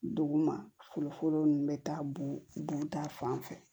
Dugu ma foro nunnu be taa bo dun ta fan fɛ